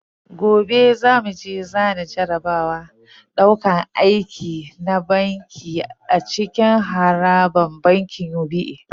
Gobe zamu je zana jarabawar dauƙar aiki na banki a cikin harabar bankin UBA